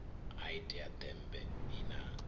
ha itea ḓembe i na